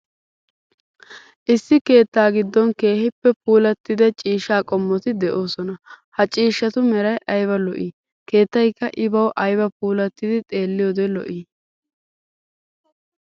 Issi keettaa giddon keehippe puulattida ciishsha qommoti de'oosona. Ha ciishshatu meray ayba lo'ii, keetttaykka I bawu ayba puulattidi xeelliyode lo'ii!